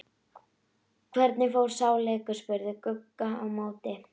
Hvernig fór sá leikur? spurði Gugga á móti.